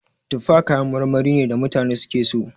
Tufa kayan marmari ne da mutane suke so.